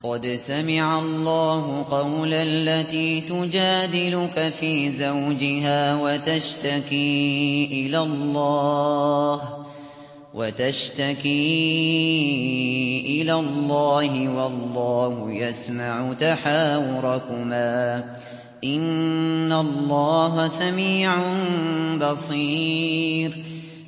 قَدْ سَمِعَ اللَّهُ قَوْلَ الَّتِي تُجَادِلُكَ فِي زَوْجِهَا وَتَشْتَكِي إِلَى اللَّهِ وَاللَّهُ يَسْمَعُ تَحَاوُرَكُمَا ۚ إِنَّ اللَّهَ سَمِيعٌ بَصِيرٌ